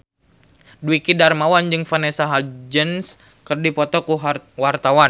Dwiki Darmawan jeung Vanessa Hudgens keur dipoto ku wartawan